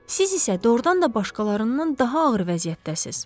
Siz isə doğrudan da başqalarından daha ağır vəziyyətdəsiniz.